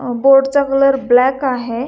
अ board चा colour black आहे.